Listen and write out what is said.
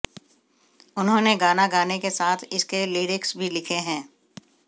उन्होंने गाना गाने के साथ इसके लिरिक्स भी लिखे हैं